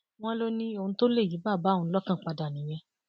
wọn lọ ní ohun tó lè yí bàbá òun lọkàn padà nìyẹn